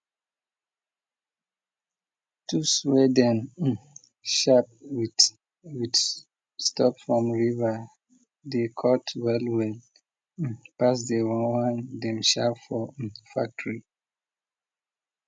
tools way them sharp with with stop from river dey cut well well pass the one dem sharp for factory